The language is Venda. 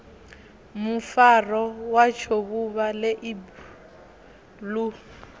mufaro watsho vhuvha ḽeibu ḽu